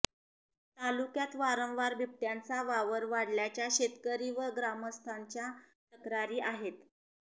तालुक्यात वारंवार बिबट्यांचा वावर वाढल्याच्या शेतकरी व ग्रामस्थांच्या तक्रारी आहेत